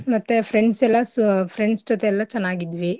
ಮತ್ತೆ friends ಎಲ್ಲಸ್ friends ಜೊತೆ ಎಲ್ಲ ಚೆನ್ನಾಗ್ ಇದ್ವಿ.